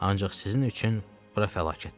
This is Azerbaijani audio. Ancaq sizin üçün bura fəlakətdir.